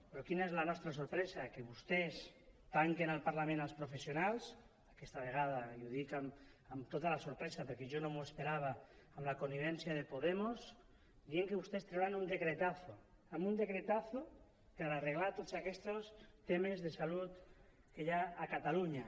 però quina és la nostra sorpresa que vostès tanquen el parlament als professionals aquesta vegada i ho dic amb tota la sorpresa perquè jo no m’ho esperava amb la connivència de podemos dient que vostes trauran un decretazo amb un salut que hi ha a catalunya